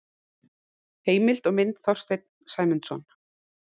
Heimild og mynd Þorsteinn Sæmundsson.